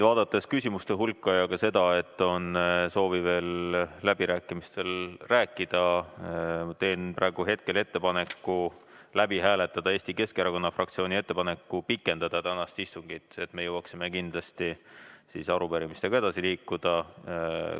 Vaadates küsimuste hulka ja ka seda, et on soovi veel läbirääkimistel rääkida, teen ettepaneku hääletada Eesti Keskerakonna fraktsiooni ettepanekut pikendada tänast istungit, et me jõuaksime kindlasti arupärimistega edasi liikuda.